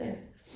Ja